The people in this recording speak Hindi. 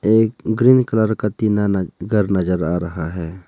एक ग्रीन कलर का टीना न घर नजर आ रहा है।